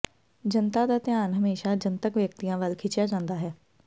ਜਨਤਾ ਦਾ ਧਿਆਨ ਹਮੇਸ਼ਾ ਜਨਤਕ ਵਿਅਕਤੀਆਂ ਵੱਲ ਖਿੱਚਿਆ ਜਾਂਦਾ ਹੈ